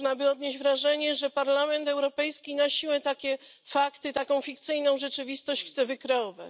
Można by odnieść wrażenie, że Parlament Europejski na siłę takie fakty, taką fikcyjną rzeczywistość chce wykreować.